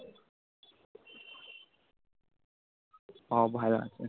ভালো আছে